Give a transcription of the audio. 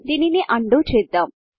దీనిని undoచేద్దాం